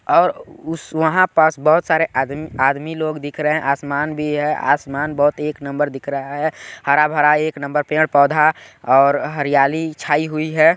और उस वहाँ पास बहोत सारे आद आदमी लोग दिख रहे है आसमान भी है आसमान बहोत एक नंबर दिख रहा है हरा-भरा एक नंबर पेड़-पौधा और हरियाली छाई हुई है।